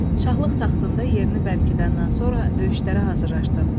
Şahlıq taxtında yerini bərkidəndən sonra döyüşlərə hazırlaşdın.